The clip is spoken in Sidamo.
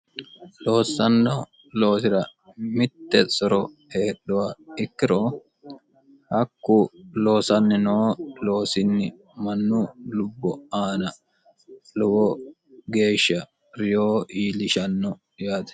loossanno loosira mitte soro heedhuha ikkiro hakku loosanni noo loosinni mannu lubbo aana lowo geeshsha reyo iilishanno yaate